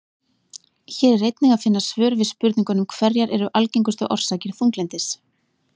Hér er einnig að finna svör við spurningunum Hverjar eru algengustu orsakir þunglyndis?